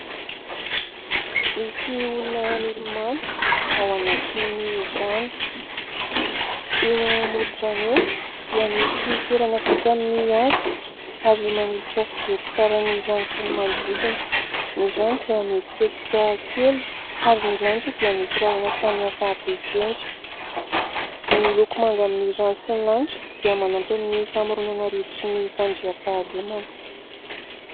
Misy olona milomano ao anatin'ny rano. Eo amoron-drano eo dia misy toerana vita amin'ny hazo ary manolotra fijery tsara ny rano sy ny manodidina. Ny rano dia mihetsiketsika kely ary ny lanitra dia misy rahona samihafa habe sy endrika. Ny loko manga amin'ny rano sy ny lanitra dia manampy amin'ny famoronana rivotry ny fandriampahalemana.